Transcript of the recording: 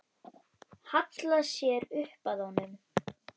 Hallar sér upp að honum.